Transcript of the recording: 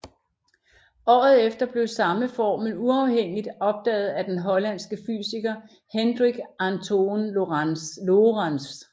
Året efter blev samme formel uafhængigt opdaget af den hollandske fysiker Hendrik Antoon Lorentz